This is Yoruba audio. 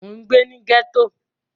Mo n gbé ní gẹ́ẹ́tò